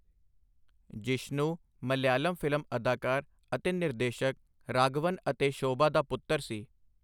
Jishnu Malayalam film ਅਦਾਕਾਰ ਅਤੇ ਨਿਰਦੇਸ਼ਕ ਰਾਘਵਨ ਅਤੇ ਸ਼ੋਭਾ ਦਾ ਪੁੱਤਰ ਸੀ।